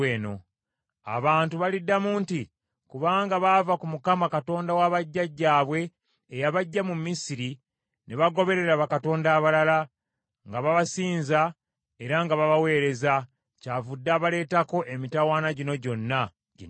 Abantu baliddamu nti, ‘Kubanga baava ku Mukama , Katonda wa bajjajjaabwe eyabaggya mu Misiri, ne bagoberera bakatonda abalala, nga babasinza era nga babaweereza, kyavudde abaleetako emitawaana gino gyonna, ginnamuzisa.’ ”